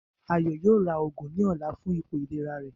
Ayo yoo ra òògùn ni ọla fún ipò ìlera rẹ.